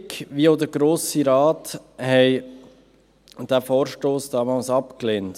Die Regierung wie auch der Grosse Rat haben diesen Vorstoss damals abgelehnt.